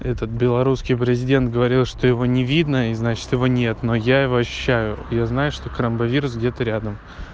этот белорусский президент говорил что его не видно и значит его нет но я его ощущаю я знаю что карамба вирус где-то рядом